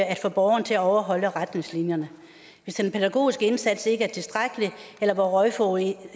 at få borgeren til at overholde retningslinjerne hvis den pædagogiske indsats ikke er tilstrækkelig eller hvor røgforureningen